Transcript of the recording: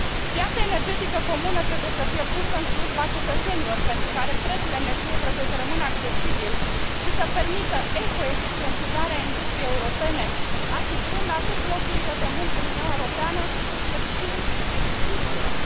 Piața energetică comună trebuie să fie pusă în slujba cetățenilor, pentru care prețul energiei trebuie să rămână accesibil și să permită ecoeficientizarea industriei europene, asigurând atât locurile de muncă în Uniunea Europeană, cât și dezvoltarea sectorului industrial.